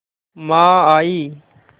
माँ आयीं